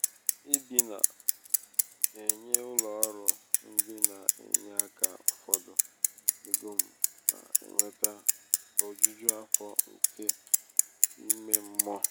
ịdị na um -enye ụlọ ọrụ ndị na-enye aka ụfọdụ égo m na-eweta um ojuju afọ nke ímé mmụọ.